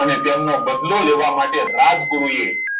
અને તેનો બદલો લેવા માટે રાજગુરુ એ